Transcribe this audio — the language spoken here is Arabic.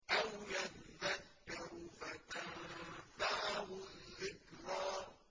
أَوْ يَذَّكَّرُ فَتَنفَعَهُ الذِّكْرَىٰ